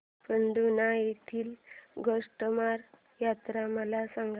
पांढुर्णा येथील गोटमार यात्रा मला सांग